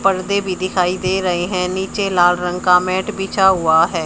पर्दे भी दिखाई दे रहे हैं नीचे लाल रंग का मैट बिछा हुआ है।